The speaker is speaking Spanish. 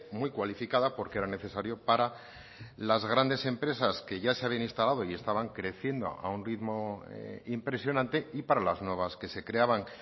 muy cualificada porque era necesario para las grandes empresas que ya se habían instalado y estaban creciendo a un ritmo impresionante y para las nuevas que se creaban